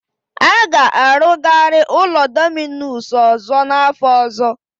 A ga-arụgari ụlọ Dominus ọzọ n'afọ ọzọ.